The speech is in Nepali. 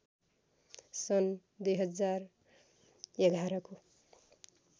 सन् २०११ को